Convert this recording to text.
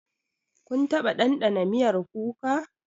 Kun taɓa dandana miyar kuka?